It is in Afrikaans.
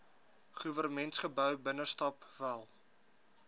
goewermentsgebou binnestap wel